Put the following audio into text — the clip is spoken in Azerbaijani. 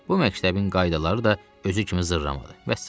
Bu məktəbin qaydaları da özü kimi zırramadır.